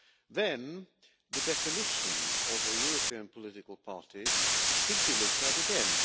Then the definition of a European political party should be looked at again.